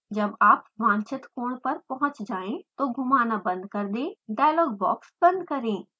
जब आप वांछित कोण पर पहुँच जाएँ तो घुमाना बंद कर दें डायलॉग बॉक्स बंद करें